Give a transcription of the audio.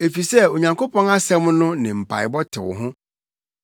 Efisɛ Onyankopɔn asɛm no ne mpaebɔ tew ho.